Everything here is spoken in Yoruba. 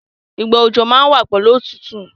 Ìgbà òjò má n wa pẹ̀lu otútù